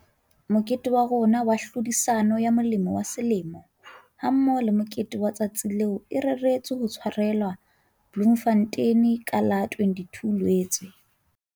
Mokete wa rona wa phehisano ya Molemi wa Selemo hammoho le Mokete wa Letsatsi leo e reretswe ho tshwarelwa Bloemfontein ka la 22 Loetse.